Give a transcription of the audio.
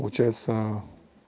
получается